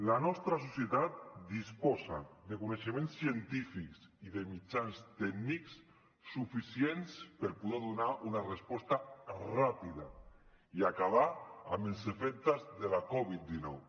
la nostra societat disposa de coneixements científics i de mitjans tècnics suficients per poder donar una resposta ràpida i acabar amb els efectes de la covid dinou